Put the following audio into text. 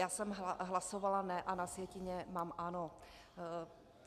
Já jsem hlasovala ne a na sjetině mám ano.